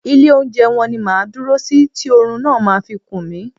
Ilé oúnjẹ wọn ni máa ń dúró sí tí oorun máa fi kun mí.